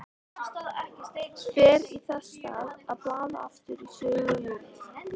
Fer þess í stað að blaða aftur í sögu Júlíu.